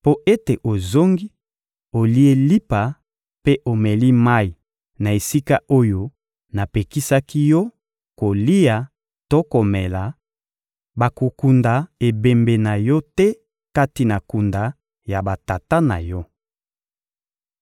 mpo ete ozongi, olie lipa mpe omeli mayi na esika oyo napekisaki yo kolia to komela, bakokunda ebembe na yo te kati na kunda ya batata na yo.»